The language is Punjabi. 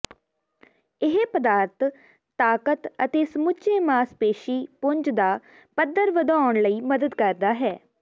ਇਹ ਪਦਾਰਥ ਤਾਕਤ ਅਤੇ ਸਮੁੱਚੇ ਮਾਸਪੇਸ਼ੀ ਪੁੰਜ ਦਾ ਪੱਧਰ ਵਧਾਉਣ ਲਈ ਮਦਦ ਕਰਦਾ ਹੈ